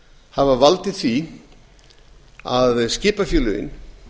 hafa valdið því að skipafélögin